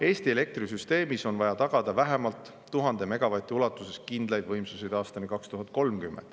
Eesti elektrisüsteemis on vaja tagada vähemalt 1000 megavati ulatuses kindlaid võimsusi aastani 2030.